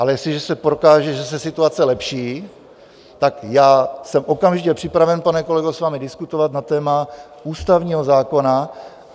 Ale jestliže se prokáže, že se situace lepší, tak já jsem okamžitě připraven, pane kolego, s vámi diskutovat na téma ústavního zákona.